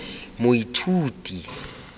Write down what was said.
moithuti